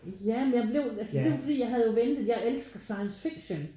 Ja men jeg blev altså det er jo fordi jeg havde jo ventet. Jeg elsker science fiction